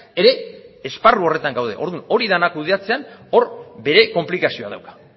ere esparru horretan gaude orduan hori dena kudeatzean hor bere konplikazioa dauka